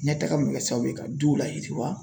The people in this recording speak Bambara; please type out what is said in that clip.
Ɲɛtaga min be kɛ sababu ye ka duw layiriwa